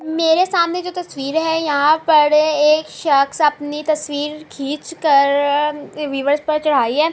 میرے سامنے جو تشویر ہے یہاں پر ایک شخص اپنی تشویر کھچ کر پر چڑھائی ہے۔